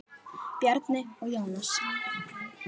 Bjarni og Jónas.